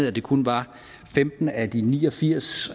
at det kun var femten af de ni og firs